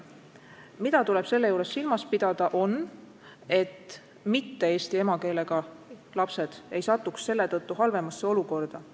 Aga selle juures tuleb silmas pidada, et mitte-eesti emakeelega lapsed ei satuks selle tõttu halvemasse olukorda.